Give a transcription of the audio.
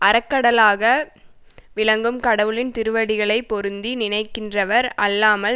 அறக்கடலாக விளங்கும் கடவுளின் திருவடிகளை பொருந்தி நினைக்கின்றவர் அல்லாமல்